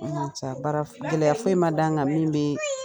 Sa Baara gɛlɛya foyi ma da n kan min bɛ